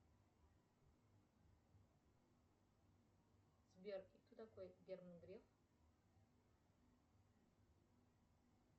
сбер кто такой герман греф